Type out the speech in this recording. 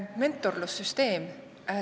Mentorlussüsteem.